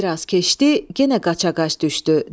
Bir az keçdi, yenə qaça-qaç düşdü.